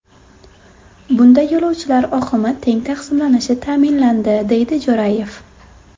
Bunda yo‘lovchilar oqimi teng taqsimlanishi ta’minlandi”, deydi Jo‘rayev.